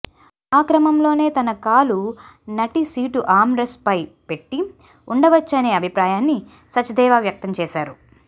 ఆ క్రమంలోనే తన కాలు నటి సీటు ఆర్మ్ రెస్ట్పై పెట్టి ఉండవచ్చనే అభిప్రాయాన్ని సచ్దేవా వ్యక్తం చేశాడు